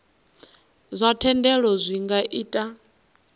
zwa thendelo zwi nga ita